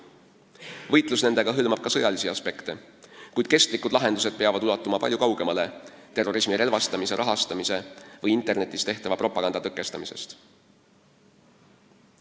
Võitlus nendega hõlmab ka sõjalisi aspekte, kuid kestlikud lahendused peavad ulatuma palju kaugemale terrorismi relvastamise, rahastamise või internetis tehtava propaganda tõkestamisest.